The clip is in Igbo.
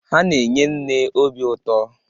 Ha na-enye nne obi ụtọ.